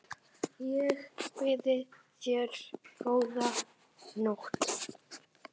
Ég býð þér góða nótt.